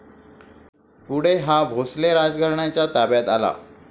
पुढे हा भोसले राजघराण्याच्या ताब्यात आला.